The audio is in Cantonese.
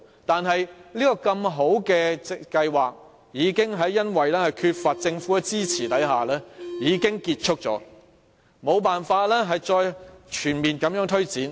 但是，這項如此好的計劃卻因為缺乏政府的支援而結束了，無法再全面推展。